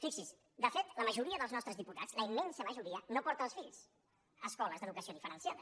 fixi’s de fet la majoria dels nostres diputats la immensa majoria no porta els fills a escoles d’educació diferenciada